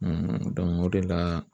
o de la